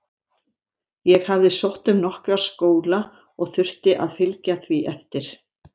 Ég hafði sótt um nokkra skóla og þurfti að fylgja því eftir.